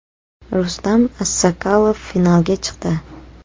Rustam Assakalov finalga chiqdi!.